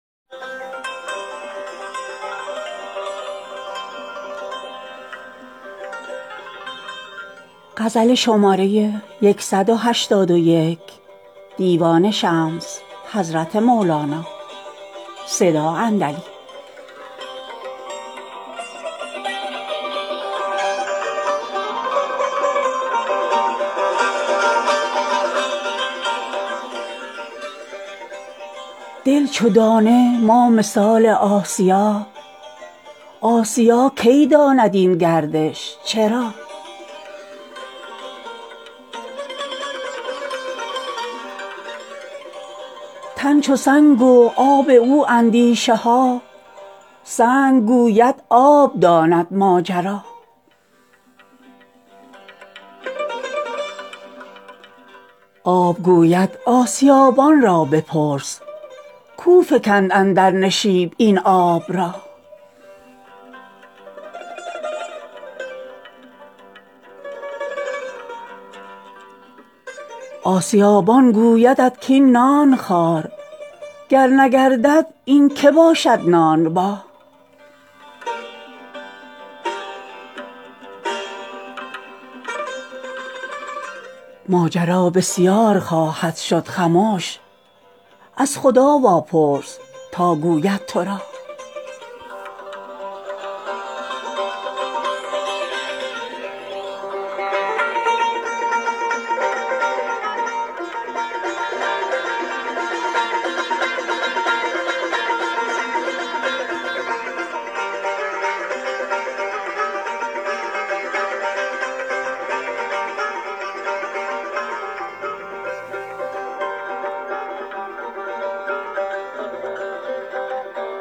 دل چو دانه ما مثال آسیا آسیا کی داند این گردش چرا تن چو سنگ و آب او اندیشه ها سنگ گوید آب داند ماجرا آب گوید آسیابان را بپرس کاو فکند اندر نشیب این آب را آسیابان گویدت ک ای نان خوار گر نگردد این که باشد نانبا ماجرا بسیار خواهد شد خمش از خدا واپرس تا گوید تو را